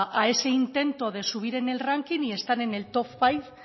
a ese intento de subir en el ranking y estar en el top five